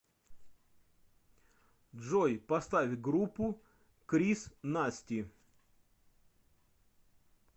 джой поставь группу крис насти